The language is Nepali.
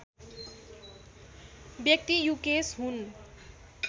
व्यक्ति युकेश हुन्